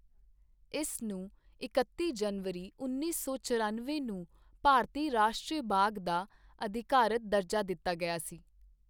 ਇਸ ਨੂੰ ਇਕੱਤੀ ਜਨਵਰੀ ਉੱਨੀ ਸੌ ਚਰਨਵੇਂ ਨੂੰ ਭਾਰਤੀ ਰਾਸ਼ਟਰੀ ਬਾਗ਼ ਦਾ ਅਧਿਕਾਰਤ ਦਰਜਾ ਦਿੱਤਾ ਗਿਆ ਸੀ।